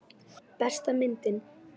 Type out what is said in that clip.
Besta myndin?